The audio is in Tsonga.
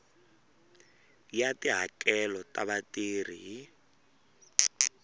ya tihakelo ta vatirhi hi